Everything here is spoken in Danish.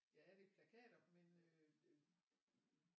Ja det er plakater men øh